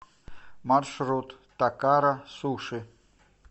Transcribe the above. маршрут такара суши